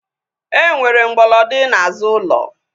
Enwere mgbolodi n'azụ ulo